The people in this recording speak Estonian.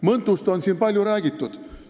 Mõntust on siin palju räägitud.